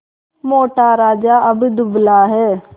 मोटा राजा अब दुबला है